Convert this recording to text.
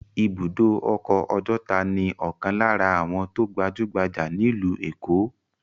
Ibùdó ọkọ̀ Ọjọ́ta ni ọ̀kan lára àwọn tó gbajú-gbajà nílùú Èkó.